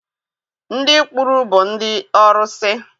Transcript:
Ndị kpuru bụ ndị ọrụsị.